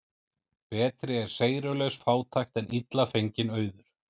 Betri er seyrulaus fátækt en illa fenginn auður.